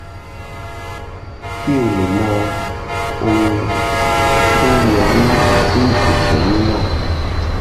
kí o lè mọ ohun tó ń yọrí sí ìṣẹ́yún náà